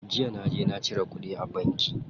Jiya naje na cire kuɗi a banki.